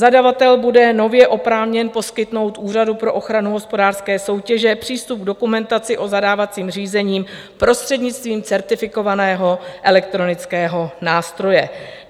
Zadavatel bude nově oprávněn poskytnout Úřadu pro ochranu hospodářské soutěže přístup k dokumentaci o zadávacím řízení prostřednictvím certifikovaného elektronického nástroje.